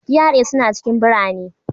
GRA suna cikin birane.